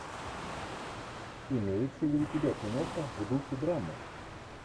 имеется ли у тебя киноха в духе драмы